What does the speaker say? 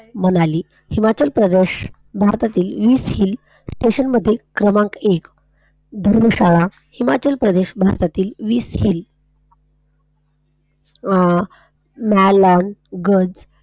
मनाली, हिमाचल प्रदेश भारतातील उंच Hill Station मधील क्रमांक एक, धर्मशाळा हिमाचल प्रदेश भारतातील वीस Hill अं गज.